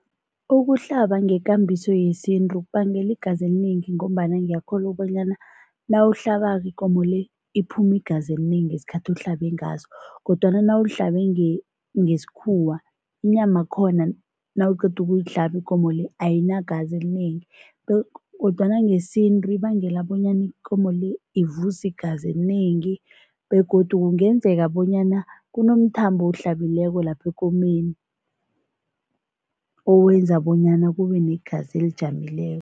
Ukuhlaba ngekambiso yesintu kubangela igazi elinengi ngombana ngiyakholwa ukubonyana nawuhlabako ikomo le, iphuma igazi elinengi ngesikhathi ohlabe ngaso kodwana nawuhlabe ngesikhuwa, inyamakhona nawuqeda ukuyihlaba ikomo le ayinagazi elinengi kodwana ngesintu ibangela bonyana ikomo le ivuze igazi elinengi begodu kungenzeka bonyana kunomthambo owuhlabileko lapho ekomeni, owenza bonyana kube negazi elijamileko.